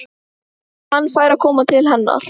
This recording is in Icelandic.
Hann fær að koma til hennar.